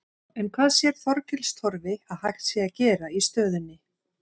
En hvað sér Þorgils Torfi að hægt sé að gera í stöðunni?